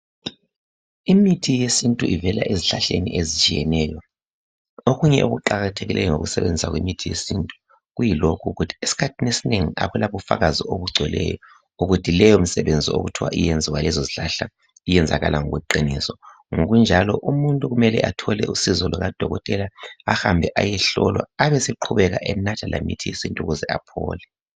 Imithi yesintu ivela ezihlahleni ezitshiyeneyo. Okunye okuqakathekileyo ngokusebenzisa kwemithi yesintu kuyilokhu ukuthi eskhathini esinengi akula bufakazi obugcweleyo ukuthi leyi imisebenzi okuthiwa iyenziwa yilezo zihlahla iyenzakala ngokweqiniso. Ngokunjalo umuntu kumele athole usizo lukadokotela, ahambe ayehlolwa ebesenatha lemithi yesintu ukuze aphole.